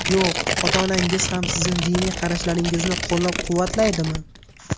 Yo‘q... Ota-onangiz ham sizni diniy qarashlaringizni qo‘llab-quvvatlaydimi?